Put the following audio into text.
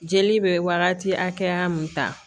Jeli bɛ wagati hakɛya mun ta